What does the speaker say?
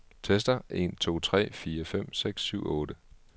Tester en to tre fire fem seks syv otte.